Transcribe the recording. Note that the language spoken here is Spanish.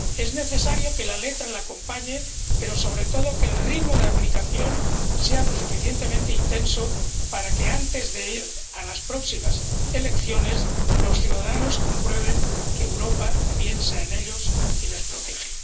Es necesario que la letra la acompañe pero, sobre todo, que el ritmo de aplicación sea lo suficientemente intenso para que, antes de ir a las próximas elecciones, los ciudadanos comprueben que Europa piensa en ellos y les protege.